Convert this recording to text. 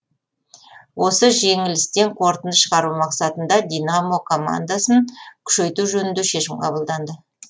осы жеңілістен қорытынды шығару мақсатында динамо командасын күшейту жөнінде шешім қабылданды